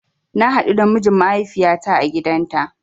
Na haɗu da mijin mahaifiyata a gidanta